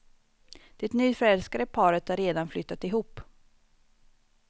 Det nyförälskade paret har redan flyttat ihop.